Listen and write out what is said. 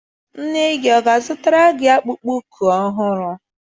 Nne gị ọ ga-azụtara gị akpụkpọ ụkwụ ọhụrụ?